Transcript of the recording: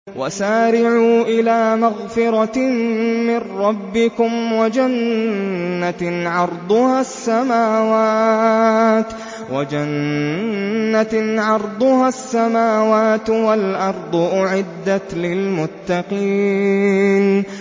۞ وَسَارِعُوا إِلَىٰ مَغْفِرَةٍ مِّن رَّبِّكُمْ وَجَنَّةٍ عَرْضُهَا السَّمَاوَاتُ وَالْأَرْضُ أُعِدَّتْ لِلْمُتَّقِينَ